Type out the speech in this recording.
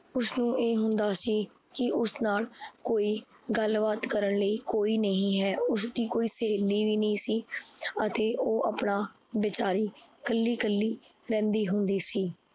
ਉਸਨੂੰ ਇਹ ਹੁੰਦਾ ਸੀ ਕੀ ਉਸ ਨਾਲ ਕੋਈ ਗੱਲਬਾਤ ਕਰਨ ਨੂੰ ਕੋਈ ਨਹੀਂ ਹੈ। ਉਸਦੀ ਕੋਈ ਸਹੇਲੀ ਵੀ ਨੀ ਸੀ। ਅਤੇ ਓਹ ਆਪਣਾ ਬੇਚਾਰੀ ਕਲਿ ਕਲਿ ਰਹਿੰਦੀ ਹੁੰਦੀ ਸੀ।